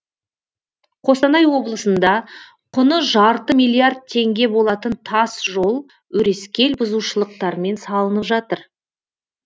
қостанай облысында құны жарты миллиард теңге болатын тас жол өрескел бұзушылықтармен салынып жатыр